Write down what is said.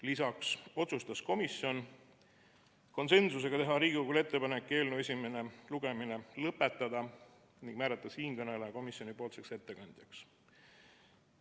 Lisaks otsustas komisjon konsensusega teha Riigikogule ettepaneku eelnõu esimene lugemine lõpetada ning määrata siinkõneleja komisjoni ettekandjaks.